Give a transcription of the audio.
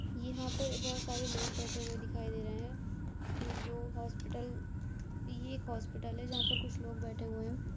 यहा पे बोहोत सारे लोग बेठे हुए दिखाई दे रहे है। ये जो हॉस्पिटल ये एक हॉस्पिटल है जहां पर कुछ लोग बेठे हुए हैं।